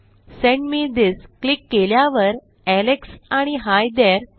send me this click केल्यावर Alex आणि hi there